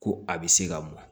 Ko a bɛ se ka mɔn